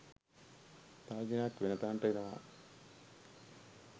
තර්ජනයක් වෙන තැනට එනවා..